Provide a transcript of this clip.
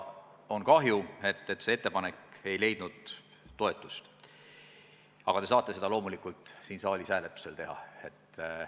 On kahju, et see ettepanek ei leidnud toetust, aga te saate seda loomulikult siin saalis hääletusel toetada.